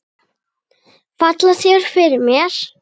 Falla þær fyrir mér?